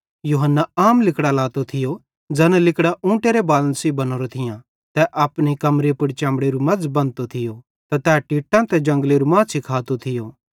यूहन्ना आम लिगड़ां लातो थियो ज़ैना लिगड़ां ऊँटेरे बालन सेइं बनोरां थियां तै अपनी कमरी पुड़ चमड़ेरू मज़ बंधतो थियो ते तै टिट्टां त कने जंगलेरू माछ़ी खातो थियो